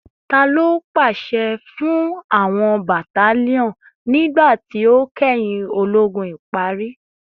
Talo paṣẹ fun awọn battalion nigba ti o kẹhin ologun ipari?